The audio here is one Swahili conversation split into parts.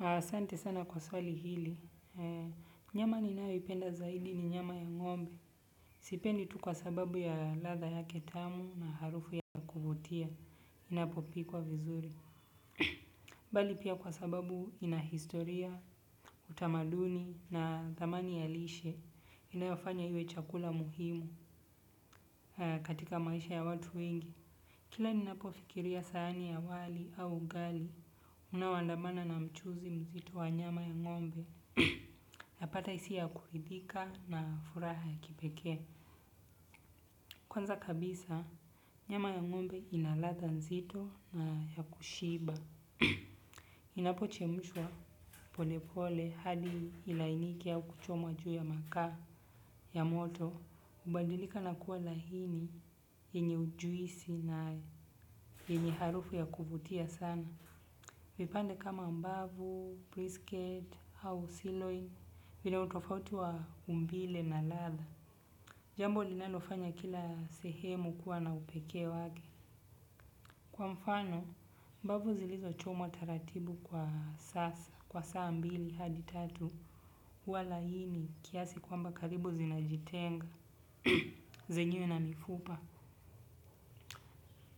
Ahsante sana kwa swali hili. Nyama ninayo ipenda zaidi ni nyama ya ngombe. Sipendi tu kwa sababu ya ladha yake tamu na harufu ya kuvutia. Inapopikwa vizuri. Bali pia kwa sababu ina historia, utamaduni na thamani ya lishe. Inayofanya iwe chakula muhimu katika maisha ya watu wengi. Kila ninapo fikiria sahani ya wali au ugali unaoandamana na mchuzi mzito wa nyama ya ngombe napata hisia ya kuridika na furaha ya kipekee. Kwanza kabisa nyama ya ngombe inaladha nzito na ya kushiba inapochemshwa polepole hadi ilainike au kuchomwa juu ya makaa ya moto hubadilika na kuwa laini yenye ujuisi na yenye harufu ya kuvutia sana. Vipande kama mbavu, prisket, au siloin, vina utofauti wa umbile na ladha. Jambo linanlofanya kila sehemu kuwa na upekee wake. Kwa mfano, mbavu zilizo chomwa taratibu kwa saa, kwa saa mbili, hadi tatu, huwa laini, kiasi kwamba karibu zinajitenga, zenyewe na mifupa.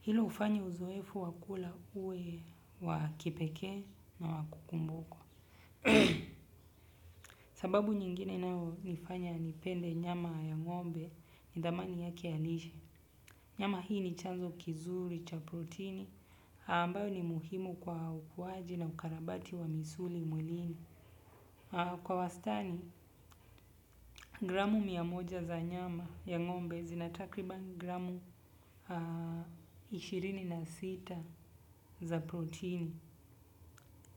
Hilo hufanya uzoefu wa kula uwe wa kipekee na wa kukumbukwa. Sababu nyingine inayo nifanya nipende nyama ya ngombe ni dhamani yake ya lishe. Nyama hii ni chanzo kizuri cha protini ambayo ni muhimu kwa ukuaji na ukarabati wa misuli mwilini. Kwa wastani, gramu miamoja za nyama ya ngombe zina takriban gramu ishirini na sita za protini.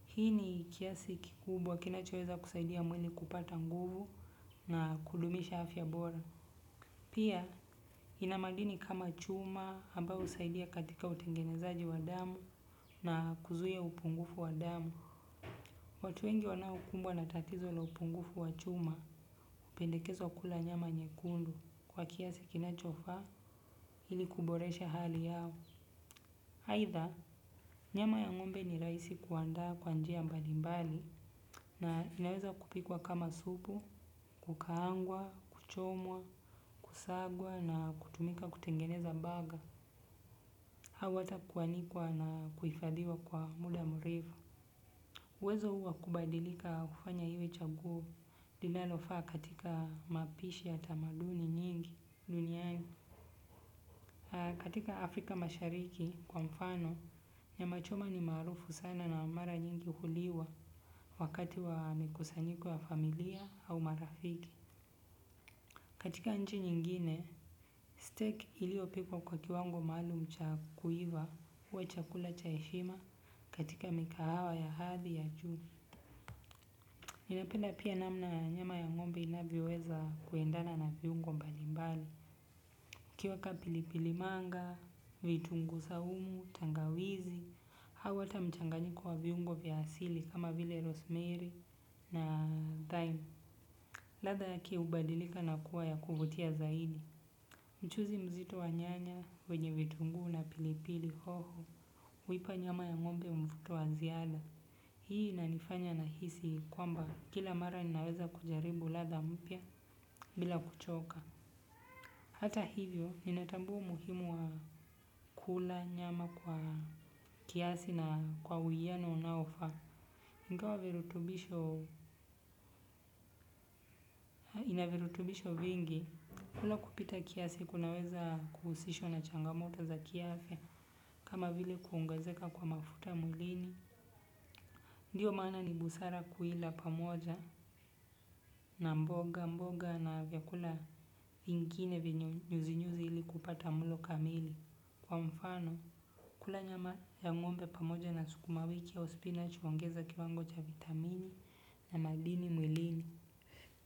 Hii ni kiasi kikubwa kinachoeza kusaidia mwili kupata nguvu na kudumisha afya bora. Pia ina madini kama chuma ambayo husaidia katika utengenezaji wa damu. Na kuzuia upungufu wa damu. Watu wengi wanao kumbwa na tatizo la upungufu wa chuma hupendekezwa kula nyama nyekundu. Kwa kiasi kinachofaa ili kuboresha hali yao aidha nyama ya ngombe ni rahisi kuandaa kwa njia mbalimbali. Na inaweza kupikwa kama supu kukaangwa, kuchomwa, kusagwa na kutumika kutengeneza burger au hata kuanikwa na kuhifadhiwa kwa muda mrefu uwezo huu wa kubadilika hufanya iwe chaguo linalofaa katika mapishi ya tamaduni nyingi duniani katika Afrika mashariki kwa mfano nyamachoma ni maarufu sana na mara nyingi huliwa wakati wamkusanyiko wa familia au marafiki katika nchi nyingine stake iliyopikwa kwa kiwango maalum cha kuiva. Uwe chakula cha heshima katika mikahawa ya hadhi ya juu ninapenda pia namna ya nyama ya ngombe inavyoweza kuendana na viungo mbalimbali ukiweka pilipili manga, vitunguu saumu, tangawizi au hata mchanganyiko wa viungo vya asili kama vile rosemary na thyme. Ladha yake hubadilika na kuwa ya kuvutia zaidi. Mchuzi mzito wa nyanya wenye vitunguu na pilipili hoho huipa nyama ya ngombe mvuto wa ziada. Hii inanifanya nahisi kwamba kila mara ninaweza kujaribu ladha mpya bila kuchoka. Hata hivyo, nina tambua umuhimu wa kula nyama kwa kiasi na kwa uwiyano unaofaa. Hutoa virutubisho ina virutubisho vingi. Kula kupita kiasi, kunaweza kuhusishwa na changamoto za kiafya kama vile kuongezeka kwa mafuta mwlini. Ndiyo maana ni busara kuila pamoja na mboga mboga na vyakula vingine vinye nyuzinyuzi ili kupata mlo kamili. Kwa mfano, kula nyama ya ngombe pamoja na sukuma wiki au spinach huongeza kiwango cha vitamini na madini mwilini.